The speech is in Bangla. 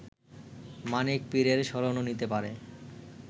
মানিক পীরের শরণও নিতে পারে